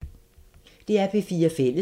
DR P4 Fælles